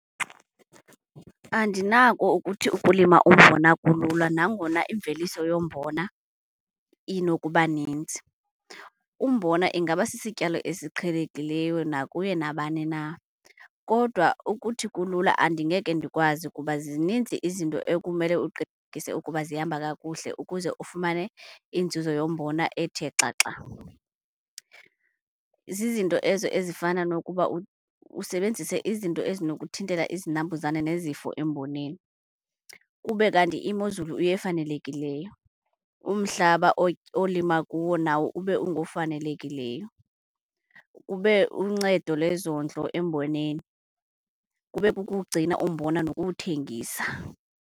Andinako ukuthi ukulima umbona kulula nangona imveliso yombona inokuba ninzi. Umbona ingaba sisityalo esiqhelekileyo nakuye nabani na kodwa ukuthi kulula andingeke ndikwazi kuba zininzi izinto ekumele uqinisekise ukuba zihamba kakuhle ukuze ufumane inzuzo yombona ethe xaxa. Zizinto ezo ezifana nokuba usebenzise izinto ezinokuthintela izinambuzane nezifo emboneni. Kube kanti imozulu yefanelekileyo, umhlaba olima kuwo nawo ube ungofanelekileyo. Kube uncedo lezondlo emboneni, kube kukuwugcina umbona nokuwuthengisa.